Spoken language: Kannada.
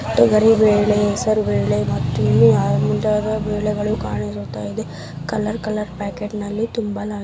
ತೊಗರಿ ಬೇಳೆ ಹೆಸರುಬೇಳೆ ಮತ್ತು ಇನ್ನು ಮುಂತಾದ ಬೇಳೆಗಳು ಅನಿಸುತ್ತ ಇದೆ ಕಲರ್ ಕಲರ್ ಪ್ಯಾಕೆಟ್ ನಲ್ಲಿ ತುಂಬಲಾಗಿದೆ.